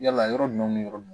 Yala yɔrɔ jumɛn ni yɔrɔ jumɛn